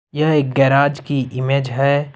यह एक गेराज की इमेज है।